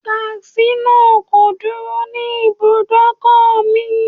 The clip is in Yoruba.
Taxi náà kò dúró ní ibùdókò mi.